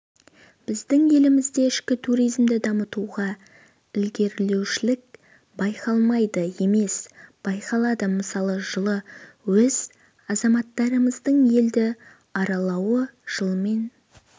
біздің елімізде ішкі туризмді дамытуда ілгерілеушілік байқалмайды емес байқалады мысалы жылы өз азаматтарымыздың елді аралауы жылмен